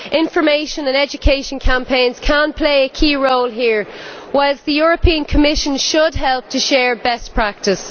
Information and education campaigns can play a key role here, whilst the European Commission should help to share best practice.